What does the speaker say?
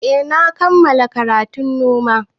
Eh na kammala karatun noma